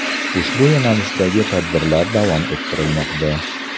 Ushbu yo‘nalishdagi tadbirlar davom ettirilmoqda.